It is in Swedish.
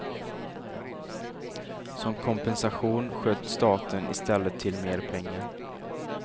Som kompensation sköt staten istället till mer pengar.